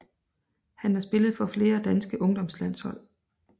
Han har spillet for flere danske ungdomslandshold